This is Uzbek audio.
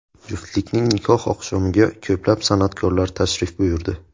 Juftlikning nikoh oqshomiga ko‘plab san’atkorlar tashrif buyurdi.